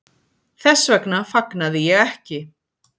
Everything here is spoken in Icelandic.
Þess vegna fagnaði ég ekki.